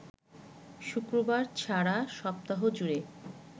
শুক্রবার ছাড়া সপ্তাহজুড়ে